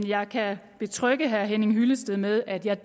jeg kan betrygge herre henning hyllested med at jeg